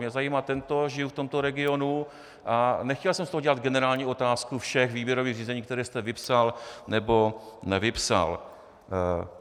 Mě zajímá tento, žiju v tomto regionu a nechtěl jsem z toho dělat generální otázku všech výběrových řízení, která jste vypsal nebo nevypsal.